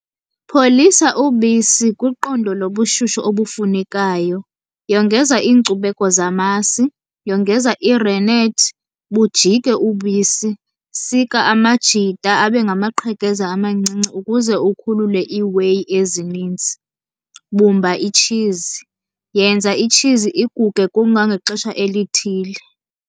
Pholisa ubisi kwiqondo lobushushu obufunekayo. Yongeza iinkcubeko zamasi, yongeza irenethi bujike ubisi. Sika amajita abe ngamaqhekeza amancinci ukuze ukhulule ii-whey ezininzi. Bumba itshizi, yenza itshizi iguge kuma ngaxesha elithile.